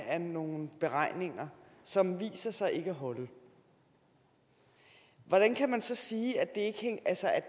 af nogle beregninger som viser sig ikke at holde hvordan kan man så sige at det